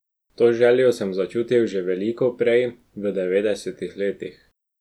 To željo sem začutil že veliko prej, v devetdesetih letih.